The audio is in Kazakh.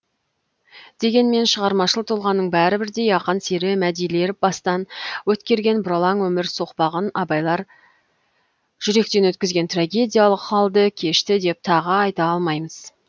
дегенмен шығармашыл тұлғаның бәрі бірдей ақан сері мәдилер бастан өткерген бұралаң өмір соқпағын абайлар жүректен өткізген трагедиялық халді кешті деп тағы айта алмаймыз